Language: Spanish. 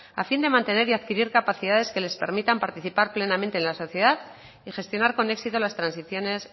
a fin de mantener y adquirir capacidades que les permitan participar plenamente en la sociedad y gestionar con éxito las transiciones